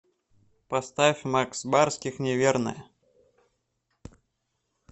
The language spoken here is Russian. поставь макс барских неверная